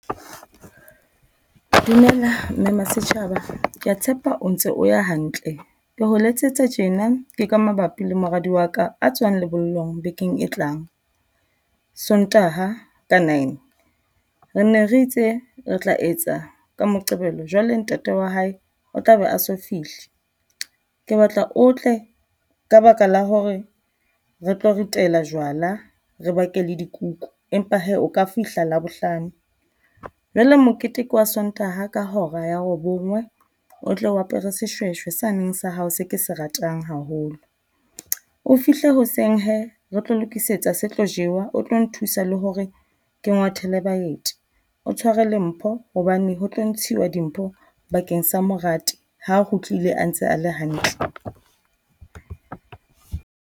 Dumela Mme Masetjhaba kea tshepa o ntse o ya hantle. Ke o letsetsa tjena ke ka mabapi le moradi wa ka a tswang lebollong bekeng e tlang, Sontaha ka nine. Re ne re itse re tla etsa ka Moqebelo jwale ntate wa hae o tla be a so fihle, ke batla o tle ka baka la hore re tlo ke ritela jwala, re bake le dikuku. Empa hee o ka fihla Labohlano. Jwale mokete ke wa Sontaha ka hora ya robong o tle o apere seshweshwe sane sa hao se ke se ratang haholo. O fihle hoseng hee re tlo lokisetsa se tlo jewa, o tlo nthusa le hore ke ngwathele baeti. O tshware le mpho hobane ho tlo ntshiwa dimpho bakeng sa moradi ha kgutlile a ntse a le hantle.